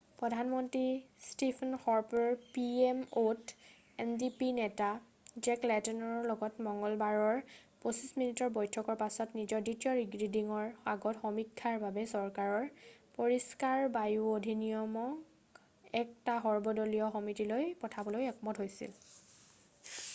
"প্ৰধানমন্ত্ৰী ষ্টিফেন হৰ্পৰে P M অ'ত এনডিপি নেতা জেক লেটনৰ লগত মংগলবাৰৰ 25 মিনিটৰ বৈঠকৰ পিছত নিজৰ দ্বিতীয় ৰিডিঙৰ আগত সমীক্ষাৰ বাবে চৰকাৰৰ "পৰিষ্কাৰ বায়ু অধিনিয়ম""ক এটা সৰ্বদলীয় সমিতিলৈ পঠাবলৈ একমত হৈছিল।""